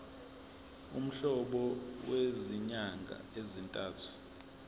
umholo wezinyanga ezintathu